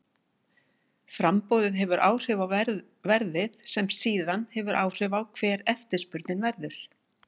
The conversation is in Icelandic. Framboðið hefur áhrif á verðið sem síðan hefur áhrif á hver eftirspurnin verður.